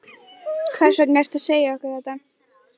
Hvers vegna ertu að segja okkur þetta?